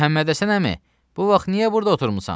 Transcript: Məhəmməd Həsən əmi, bu vaxt niyə burda oturmusan?